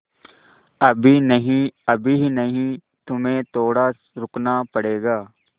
अभी नहीं अभी नहीं तुम्हें थोड़ा रुकना पड़ेगा